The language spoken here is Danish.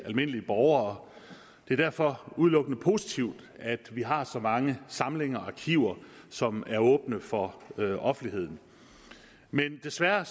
almindelige borgere det er derfor udelukkende positivt at vi har så mange samlinger og arkiver som er åbne for offentligheden men desværre